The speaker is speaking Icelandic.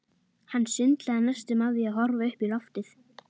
Hann sundlaði næstum af því að horfa upp í loftið.